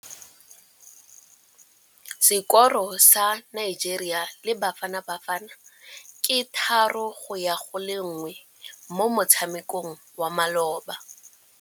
Sekôrô sa Nigeria le Bafanabafana ke 3-1 mo motshamekong wa malôba.